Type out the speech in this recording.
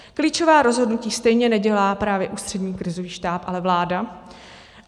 Klíčová rozhodnutí stejně nedělá právě Ústřední krizový štáb, ale vláda.